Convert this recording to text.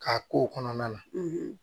K'a k'o kɔnɔna na